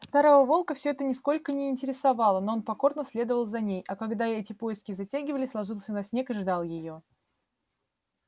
старого волка всё это нисколько не интересовало но он покорно следовал за ней а когда эти поиски затягивались ложился на снег и ждал её